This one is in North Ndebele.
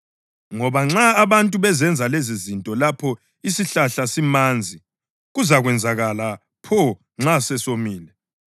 Ngoba nxa abantu bezenza lezizinto lapho isihlahla simanzi, kuzakwenzakalani pho nxa sesomile?”